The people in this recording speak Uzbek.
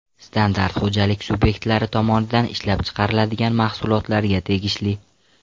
Standart xo‘jalik subyektlari tomonidan ishlab chiqariladigan mahsulotlarga tegishli.